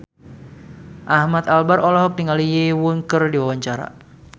Ahmad Albar olohok ningali Lee Yo Won keur diwawancara